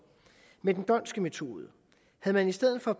med den dhondtske metode havde man i stedet for